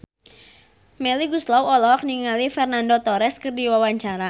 Melly Goeslaw olohok ningali Fernando Torres keur diwawancara